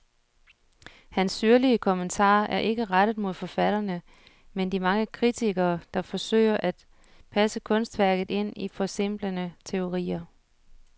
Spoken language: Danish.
Hans syrlige kommentarer er ikke rettet mod forfatterne, men de mange kritikere, der forsøger at passe kunstværket ind i forsimplende teorier.